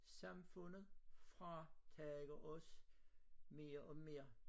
Samfundet fratager os mere og mere